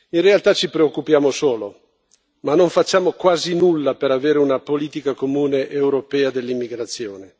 In realtà ci preoccupiamo solo, ma non facciamo quasi nulla per avere una politica comune europea dell'immigrazione.